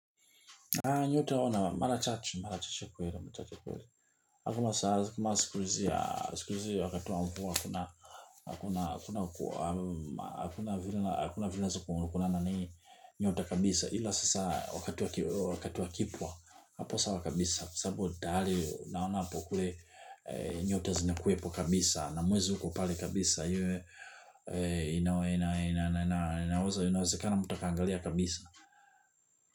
Nyote waona, mara chache, marachache kweli, mchache kweli. Hakuma saa, kuma sikurizia, sikurizia, wakatuwa mkua, hakuna, hakuna, hakuna, hakuna vile, hakuna vila kuna kuna nani nyota kabisa. Hila sasa, wakatu wa kipwa, hapo sawa kabisa. Kwa sababu, tayali, naona apo kule nyota zinakuwepo kabisa. Na mwezi ukopale kabisa, yue, inaweza, inaweza, inaweza, inaweza, kano mtu akaangalia kabisa.